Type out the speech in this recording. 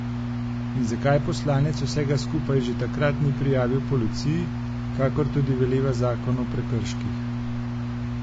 In zakaj poslanec vsega skupaj že takrat ni prijavil policiji, kakor tudi veleva zakon o prekrških?